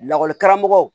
Lakɔlikaramɔgɔ